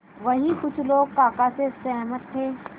वहीं कुछ लोग काका से सहमत थे